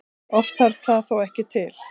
Oft þarf það þó ekki til.